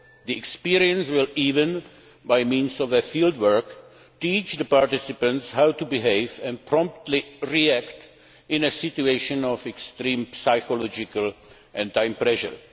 The experience will even, by means of field work, teach the participants how to behave and promptly react in a situation of extreme psychological and time pressure.